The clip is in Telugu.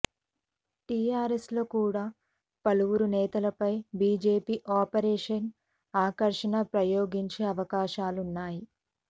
టీఆర్ఎస్లో కూడా పలువురు నేతలపై బీజేపీ ఆపరేషన్ ఆకర్ష్ను ప్రయోగించే అవకాశాలున్నాయి